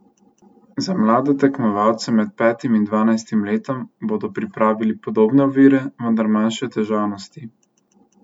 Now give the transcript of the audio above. Za mlade tekmovalce med petim in dvanajstim letom bodo pripravili podobne ovire, vendar manjše težavnosti.